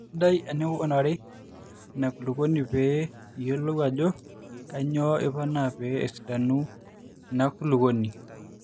sidai ening'urarri ina kulukuoni pee iyiolou ajo kanyioo iponaa pee esidanu ina kulukuoni